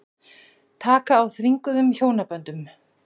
Taka á þvinguðum hjónaböndum